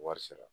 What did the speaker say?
Wari sara